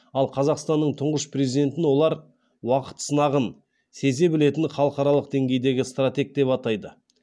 ал қазақстанның тұңғыш президентін олар уақыт сынағын сезе білетін халықаралық деңгейдегі стратег деп атайды